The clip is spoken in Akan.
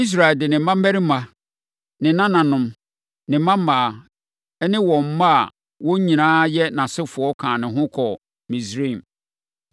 Israel de ne mmammarima, ne nananom, ne mmammaa ne wɔn mma a wɔn nyinaa yɛ nʼasefoɔ kaa ne ho kɔɔ Misraim.